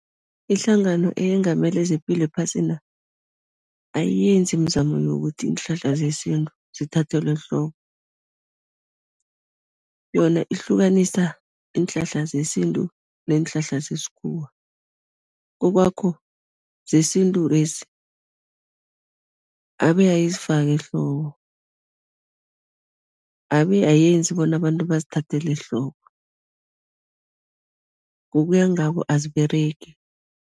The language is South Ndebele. Ihlangano eyengamele zepilo ephasina, ayiyenzi imizamo yokuthi iinhlahla zesintu zithathelwe ehloko, yona ihlukanisa iinhlahla zesintu neenhlahla zesikhuwa, zesintu lezi, abe ayizifaki ehloko, abe ayenzi bona abantu bazithathele ehloko, ngokuya ngabo aziberegi.